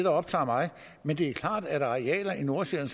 optager mig men det er klart at arealer i nordsjælland